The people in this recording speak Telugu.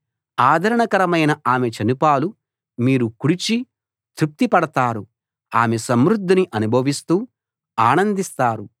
ఆదరణకరమైన ఆమె చనుపాలు మీరు కుడిచి తృప్తి పడతారు ఆమె సమృద్ధిని అనుభవిస్తూ ఆనందిస్తారు